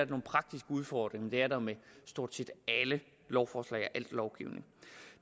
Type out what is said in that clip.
praktiske udfordringer men det er der med stort set alle lovforslag og al lovgivning